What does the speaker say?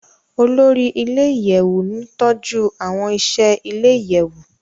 Olori ile-iyẹwu n tọju awọn iṣẹ ile-iyẹwu